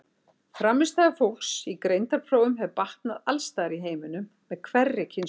Frammistaða fólks í greindarprófum hefur batnað alls staðar í heiminum með hverri kynslóð.